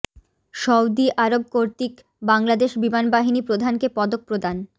Saudi Arab কর্তৃক বাংলাদেশ বিমান বাহিনী প্রধানকে পদক প্রদান